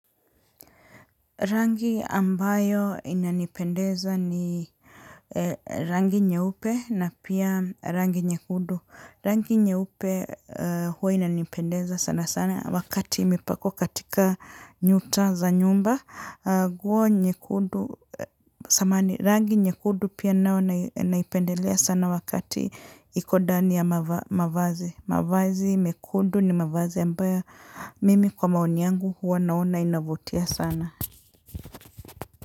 Rangi ambayo inanipendeza ni rangi nyeupe na pia rangi nyekundu. Rangi nyeupe huwa inanipendeza sana sana wakati imepakwa katika nyuta za nyumba. Nguo nyekundu samahani rangi nyekundu pia nao naipendelea sana wakati iko ndani ya mavazi. Mavazi mekundu ni mavazi ambayo mimi kwa maoni yangu huwa naona inavutia sana.